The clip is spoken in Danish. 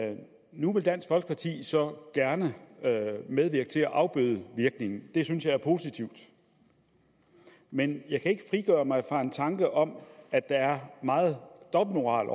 nu vil dansk folkeparti så gerne medvirke til at afbøde virkningen det synes jeg er positivt men jeg kan ikke frigøre mig fra en tanke om at der er meget dobbeltmoral